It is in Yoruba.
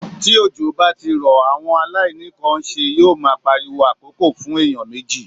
Tí òjò bá ti rọ̀, àwọn aláìní kan nṣe yó ma pariwo àkókò fún èèyàn méjì.